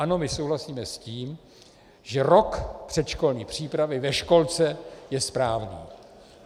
Ano, my souhlasíme s tím, že rok předškolní přípravy ve školce je správný.